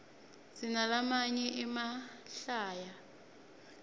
sinalamanye emahlaya